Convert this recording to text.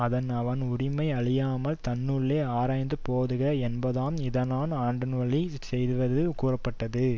அதனால் அவன் உரிமை அழியாமல் தன்னுள்ளே ஆராய்ந்து போதுக என்பதாம் இதனான் ஆண்டவழிச் செய்வது கூறப்பட்டது